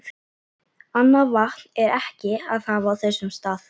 Annað vatn er ekki að hafa á þessum stað.